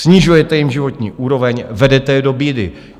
Snižujete jim životní úroveň, vedete je do bídy.